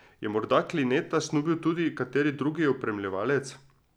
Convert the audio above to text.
Je morda Klineta snubil tudi kateri drugi opremljevalec?